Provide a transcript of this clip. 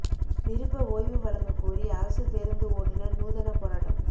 விருப்ப ஓய்வு வழங்கக் கோரி அரசு பேருந்து ஓட்டுநா் நூதனப் போராட்டம்